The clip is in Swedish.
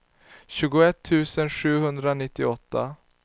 tjugoett tusen sjuhundranittioåtta